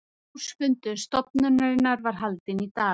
Ársfundur stofnunarinnar var haldinn í dag